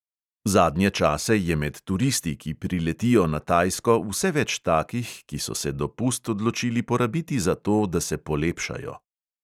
Zadnje čase je med turisti, ki priletijo na tajsko, vse več takih, ki so se dopust odločili porabiti za to, da se polepšajo.